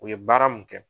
U ye baara mun kɛ